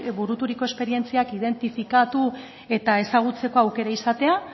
buruturiko esperientziak identifikatu eta ezagutzeko aukera izatea